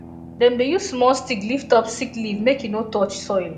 dem dey use small stick lift up sick leaf make e no touch soil